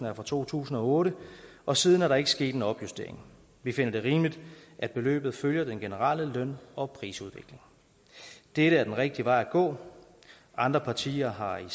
er fra to tusind og otte og siden er der ikke sket en opjustering vi finder det rimeligt at beløbet følger den generelle løn og prisudvikling dette er den rigtige vej at gå andre partier har her